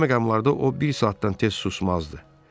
Belə məqamlarda o bir saatdan tez susmazdı.